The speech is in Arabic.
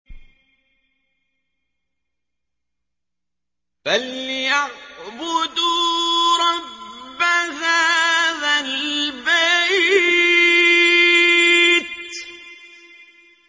فَلْيَعْبُدُوا رَبَّ هَٰذَا الْبَيْتِ